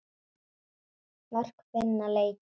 Mörk vinna leiki.